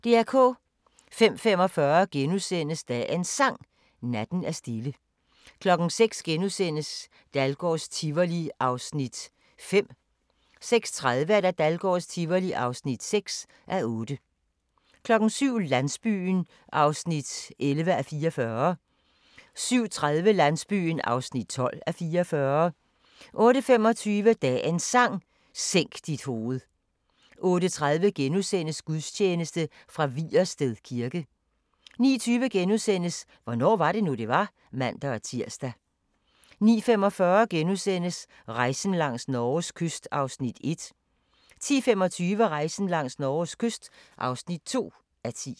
05:45: Dagens Sang: Natten er stille * 06:00: Dahlgårds Tivoli (5:8)* 06:30: Dahlgårds Tivoli (6:8) 07:00: Landsbyen (11:44) 07:30: Landsbyen (12:44) 08:25: Dagens Sang: Sænk dit hoved 08:30: Gudstjeneste fra Vigersted Kirke * 09:20: Hvornår var det nu, det var? *(man-tir) 09:45: Rejsen langs Norges kyst (1:10)* 10:25: Rejsen langs Norges kyst (2:10)